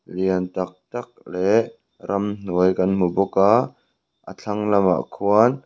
lian tâk tâk leh ramhuai kan hmu bawk a a thlang lamah khuan--